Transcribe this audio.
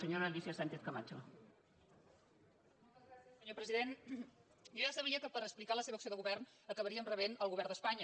senyor president jo ja sabia que per explicar la seva acció de govern acabaríem rebent el govern d’espanya